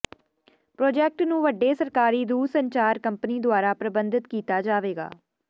project ਨੂੰ ਵੱਡੇ ਸਰਕਾਰੀ ਦੂਰਸੰਚਾਰ ਕੰਪਨੀ ਦੁਆਰਾ ਪਰਬੰਧਿਤ ਕੀਤਾ ਜਾਵੇਗਾ